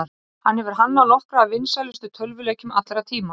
hann hefur hannað nokkra af vinsælustu tölvuleikjum allra tíma